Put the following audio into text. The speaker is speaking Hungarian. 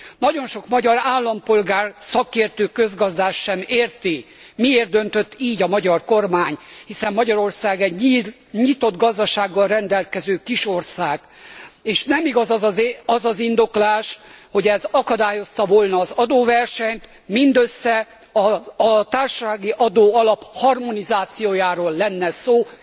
Nagyon sok magyar állampolgár, szakértő közgazdász sem érti, miért döntött így a magyar kormány, hiszen Magyarország egy nyitott gazdasággal rendelkező kis ország, és nem igaz az az indoklás, hogy ez akadályozta volna az adóversenyt, mindössze a társasági adóalap harmonizációjáról lenne szó.